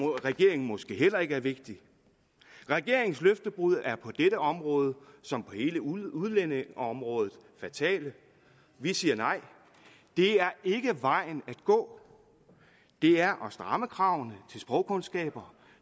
regeringen måske heller ikke er vigtigt regeringens løftebrud er på dette område som på hele udlændingeområdet fatale vi siger nej det er ikke vejen at gå det er at stramme kravene til sprogkundskaber